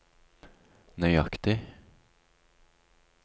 nøyaktig